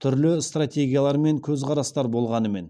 түрлі стратегиялар мен көзқарастар болғанымен